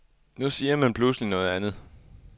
Nu siger man pludselig noget andet.